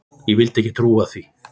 Ég vildi ekki trúa því.